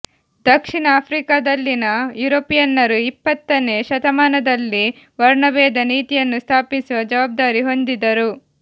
ದಕ್ಷಿಣ ಆಫ್ರಿಕಾದಲ್ಲಿನ ಯುರೋಪಿಯನ್ನರು ಇಪ್ಪತ್ತನೇ ಶತಮಾನದಲ್ಲಿ ವರ್ಣಭೇದ ನೀತಿಯನ್ನು ಸ್ಥಾಪಿಸುವ ಜವಾಬ್ದಾರಿ ಹೊಂದಿದ್ದರು